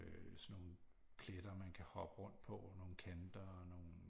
Øh sådan nogle pletter man kan hoppe rundt på nogle kanter og nogle